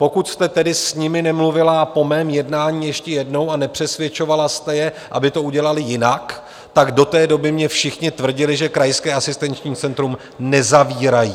Pokud jste tedy s nimi nemluvila po mém jednání ještě jednou a nepřesvědčovala jste je, aby to udělali jinak, tak do té doby mně všichni tvrdili, že krajské asistenční centrum nezavírají.